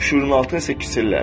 Şüurun altı isə kiçilər.